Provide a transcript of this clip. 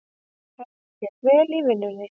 Henni gekk vel í vinnunni.